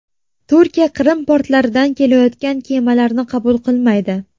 Turkiya Qrim portlaridan kelayotgan kemalarni qabul qilmaydi.